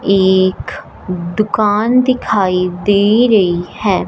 एक दुकान दिखाई दे रही है।